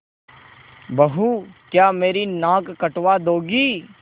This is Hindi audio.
बहू क्या मेरी नाक कटवा दोगी